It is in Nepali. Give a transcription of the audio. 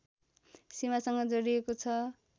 सिमासँग जोडिएको छ